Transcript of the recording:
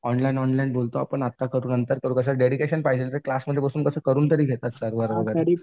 online online बोलतो आपण आत्ता करू नंतर करू कसं डेडिकेशन पाहिजे रे क्लासमध्ये बसून कसं करून तरी घेतात सर वगैरे